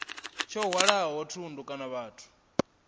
tsho hwalaho thundu kana vhathu